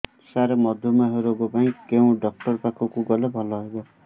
ସାର ମଧୁମେହ ରୋଗ ପାଇଁ କେଉଁ ଡକ୍ଟର ପାଖକୁ ଗଲେ ଭଲ ହେବ